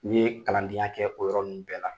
N yee kalandenya kɛ o yɔrɔ ninnu bɛɛ la.